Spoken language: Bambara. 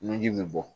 Nunji bɛ bɔ